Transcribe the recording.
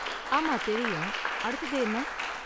ஆமா தெரியும். அடுத்தது என்ன?